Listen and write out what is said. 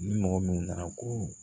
Ni mɔgɔ min nana ko